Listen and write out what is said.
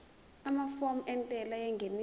amafomu entela yengeniso